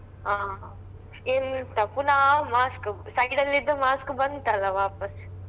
ಹ ಎಂತ ಪುನಾ mask, side ಅಲ್ ಇದ್ದ mask ಬಂತಲ್ಲ ವಾಪಸ್.